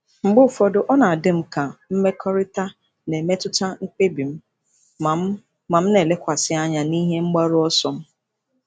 Mgbe ụfọdụ, ọ na-adị m ka mmekọrịta na-emetụta mkpebi m, ma m, ma m na-elekwasị anya n'ihe mgbaru ọsọ m.